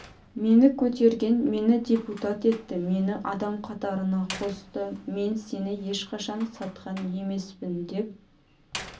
мені көтерген мені депутат етті мені адам қатарына қосты мен сені ешқашан сатқан емеспін деп